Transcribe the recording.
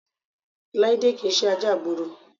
Láídé kì í ṣe ajá ìgboro